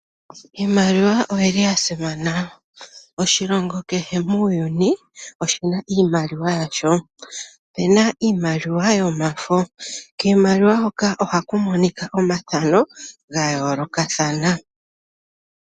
Iimaliwa oya simana. Oshilongo kehe muuyuni oshi na iimaliwa yasho. Opu na iimaliwa yomafo. Kiimaliwa hoka ohaku monika omathano ga yoolokathana.